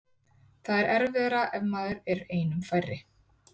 Það er erfiðara ef maður er einum færri.